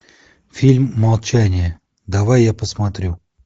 фильм молчание давай я посмотрю